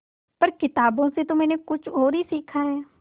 पर किताबों से तो मैंने कुछ और ही सीखा है